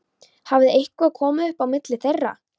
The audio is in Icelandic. Hafði eitthvað komið upp á milli þeirra?